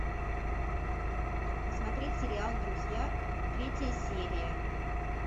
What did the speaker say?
посмотреть сериал друзья третья серия